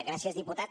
gràcies diputat